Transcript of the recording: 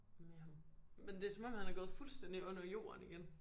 Men ham. Men det er som om han er gået fuldstændig under jorden igen